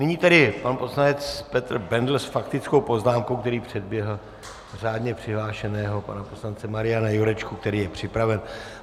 Nyní tedy pan poslanec Petr Bendl s faktickou poznámkou, který předběhl řádně přihlášeného pana poslance Mariana Jurečku, který je připraven.